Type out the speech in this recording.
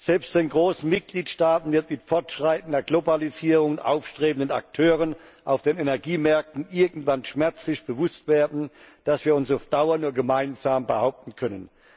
Selbst den großen Mitgliedstaaten wird mit fortschreitender Globalisierung und aufstrebenden Akteuren auf den Energiemärkten irgendwann schmerzlich bewusst werden, dass wir uns auf Dauer nur gemeinsam behaupten können.